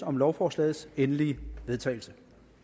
om lovforslagets endelige vedtagelse